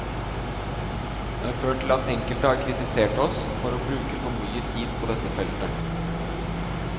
Det har ført til at enkelte har kritisert oss for å bruke for mye tid på dette feltet.